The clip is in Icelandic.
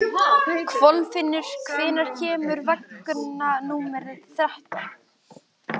Kolfinnur, hvenær kemur vagn númer þrettán?